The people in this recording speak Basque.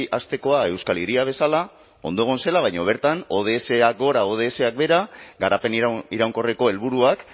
astekoa euskal hiria bezala ondo egon zela baina bertan odsak gora odsak behera garapen iraunkorreko helburuak